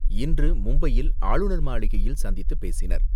இன்று மும்பையில் ஆளுநர் மாளிகையில் சந்தித்து பேசினர்.